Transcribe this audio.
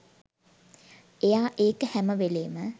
එයා ඒක හැම වෙලේම